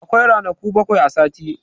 Akwai ranaku bakwai a sati.